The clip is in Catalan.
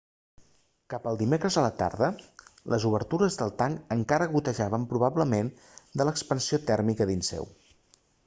cap al dimecres a la tarda les obertures del tanc encara gotejaven probablement de l'expansió tèrmica dins seu